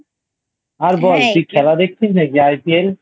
আর বল তুই খেলা দেখছিস নাকি IPL ?